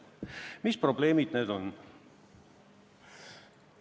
Mis probleemid need on?